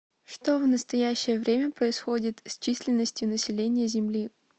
что в настоящее время происходит с численностью населения земли